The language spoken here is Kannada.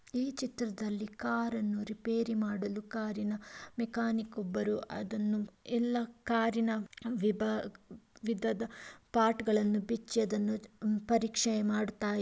ಈ ಚಿತ್ರದಲ್ಲಿ ಕಾರನ್ನು ರಿಪೇರಿ ಮಾಡಲು ಕಾರಿನ ಮೆಕಾನಿಕ್ ಒಬ್ಬರು ಅದನ್ನು ಎಲ್ಲ ಕಾರಿ ನ ವಿಭಾ ವಿಭಾಗದ ಪರ್ಟ್ಗಳು ಬಿಚ್ಚಿ ಅದನ್ನ ಪರೀಕ್ಷೆ ಮಾಡುತ--